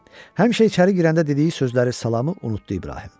Həmişə içəri girəndə dediyi sözləri, salamı unutdu İbrahim.